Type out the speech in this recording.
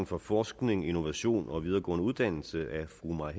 for forskning innovation og videregående uddannelse af fru mai